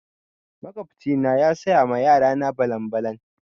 Makwabci na ya saya ma yara na balan-balan.